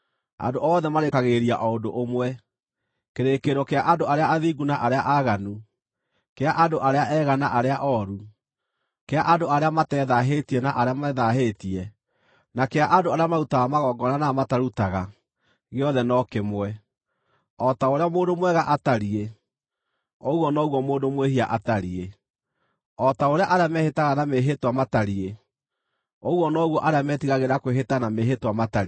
Andũ othe marĩĩkagĩrĩria o ũndũ ũmwe: kĩrĩkĩrĩro kĩa andũ arĩa athingu na arĩa aaganu, kĩa andũ arĩa ega na arĩa ooru, kĩa andũ arĩa matethaahĩtie na arĩa methaahĩtie, na kĩa andũ arĩa marutaga magongona na arĩa matarutaga gĩothe no kĩmwe. O ta ũrĩa mũndũ mwega atariĩ, ũguo noguo mũndũ mwĩhia atariĩ; o ta ũrĩa arĩa mehĩtaga na mĩĩhĩtwa matariĩ, ũguo noguo arĩa metigagĩra kwĩhĩta na mĩĩhĩtwa matariĩ.